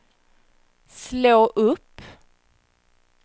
slå upp